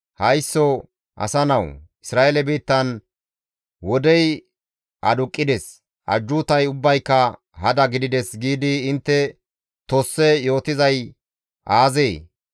«Haysso asa nawu! Isra7eele biittan, ‹Wodey aduqqides; ajjuutay ubbayka hada gidides› giidi intte tosse yootizay aazee?